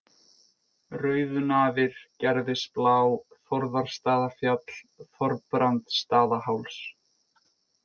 Rauðunafir, Gerðisblá, Þórðarstaðafjall, Þorbrandsstaðaháls